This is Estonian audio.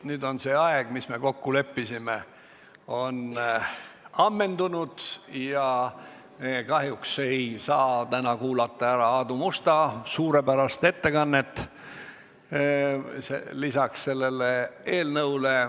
Nüüd on see aeg, mille me kokku leppisime, ammendunud ja kahjuks ei saa täna kuulata ära Aadu Musta suurepärast ettekannet selle eelnõu arutelu kohta.